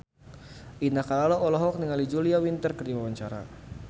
Indah Kalalo olohok ningali Julia Winter keur diwawancara